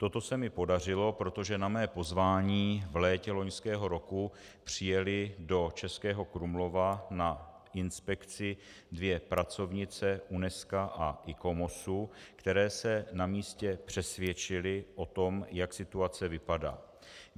Toto se mi podařilo, protože na mé pozvání v létě loňského roku přijely do Českého Krumlova na inspekci dvě pracovnice Unesca a Icomosu, které se na místě přesvědčily o tom, jak situace vypadá.